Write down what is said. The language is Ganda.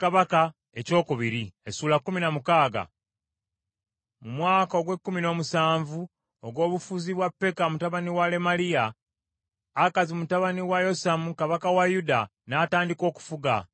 Mu mwaka ogw’ekkumi n’omusanvu ogw’obufuzi bwa Peka mutabani wa Lemaliya, Akazi mutabani wa Yosamu kabaka wa Yuda, n’atandika okufuga.